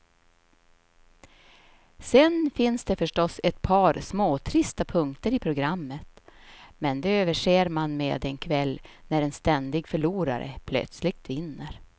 Sen finns det förstås ett par småtrista punkter i programmet, men de överser man med en kväll när en ständig förlorare plötsligt vinner.